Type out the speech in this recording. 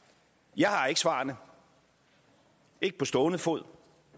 jeg har ikke svarene ikke på stående fod